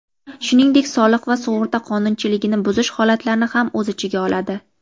shuningdek soliq va sug‘urta qonunchiligini buzish holatlarini ham o‘z ichiga oladi.